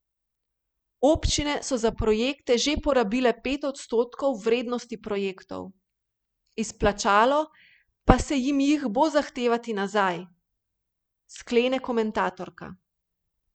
Občine so za projekte že porabile pet odstotkov vrednosti projektov, izplačalo se jim jih bo zahtevati nazaj, sklene komentatorka.